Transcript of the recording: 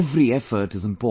Every effort is important